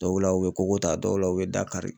Dɔw la u bɛ koko ta, dɔw la u bɛ da kari.